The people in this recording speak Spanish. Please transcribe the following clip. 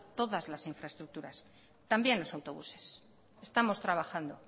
todas las infraestructuras también los autobuses estamos trabajando